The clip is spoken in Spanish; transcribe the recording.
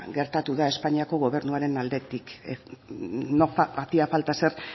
gertatu da espainiako gobernuaren aldetik no hacía falta ser